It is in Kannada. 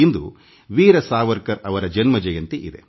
ಇಂದು ವೀರ ಸಾವರ್ಕರ್ ಅವರ ಜಯಂತಿ